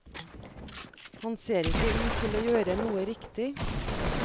Han ser ikke ut til å gjøre noe riktig.